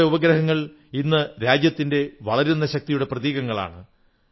നമ്മുടെ ഉപഗ്രഹങ്ങൾ ഇന്ന് രാജ്യത്തിന്റെ വളരുന്ന ശക്തിയുടെ പ്രതീകങ്ങളാണ്